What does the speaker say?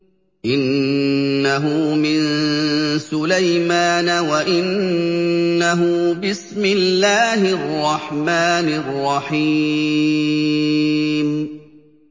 إِنَّهُ مِن سُلَيْمَانَ وَإِنَّهُ بِسْمِ اللَّهِ الرَّحْمَٰنِ الرَّحِيمِ